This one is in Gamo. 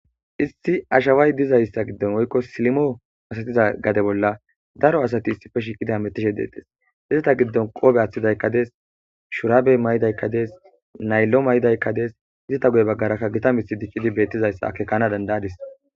Issi ashaway dizayssa gidon woykko silimo masatiza daro asati issi bolla shiiqidi ametishe deetees. izata gidon qoobe aatidaykka dees shuurabe mayidaykka dees naylo mayidaykka dees. izata goye bagarakka gita mithi diccidi beetuizayssa akeekana danada'adiis.